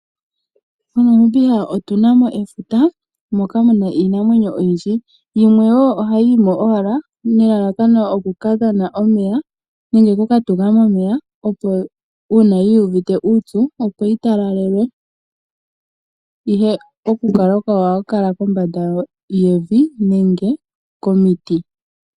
MoNamibia otuna mo efuta moka muna iinamwenyo oyindji, yimwe wo ohayi yimo owala nelalakano okuka dhana omeya nenge okuka tuka momeya uuna yuuvite uupyu, opo yi talalelwe ihe oku kala kwawo ohayi kala kombanda yevi nenge komiti.